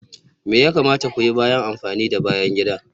Me ya kamata ku yi bayan amfani da bayan gida?